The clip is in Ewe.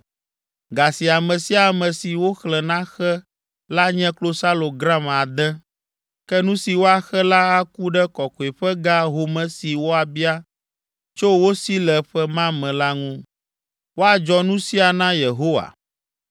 Ga si ame sia ame si woxlẽ naxe la nye klosalo gram ade. Ke nu si woaxe la aku ɖe kɔkɔeƒe ga home si woabia tso wo si le ƒe ma me la ŋu. Woadzɔ nu sia na Yehowa.